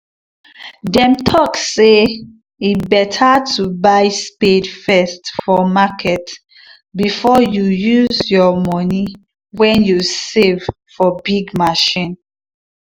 them talk say e better to buy spade first for market before you used your money wen you save for big machine